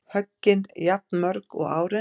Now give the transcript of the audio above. Höggin jafnmörg og árin